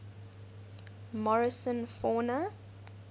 morrison fauna